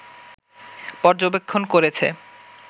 পর্যবেক্ষণ করেছে